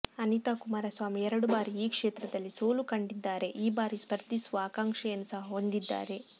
ಅನಿತಾ ಕುಮಾರಸ್ವಾಮಿ ಎರಡು ಬಾರಿ ಈ ಕ್ಷೇತ್ರದಲ್ಲಿ ಸೋಲುಕಂಡಿದ್ದಾರೆ ಈ ಬಾರಿ ಸ್ಪರ್ಧಿಸುವ ಆಕಾಂಕ್ಷೆಯನ್ನು ಸಹ ಹೊಂದಿದ್ದಾರೆ